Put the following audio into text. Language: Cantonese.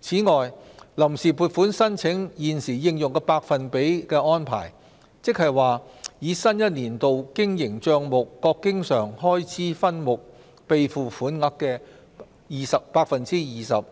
此外，臨時撥款申請現時應用的百分比安排，即以新一年度經營帳目各經常開支分目備付款額的 20%，